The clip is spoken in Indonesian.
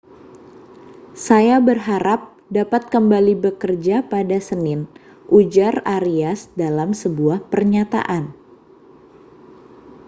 saya berharap dapat kembali bekerja pada senin ujar arias dalam sebuah pernyataan